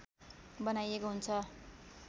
बनाइएको हुन्छ